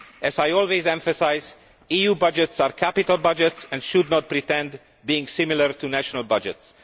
As I always emphasise, EU budgets are capital budgets and should not pretend to be similar to national budgets.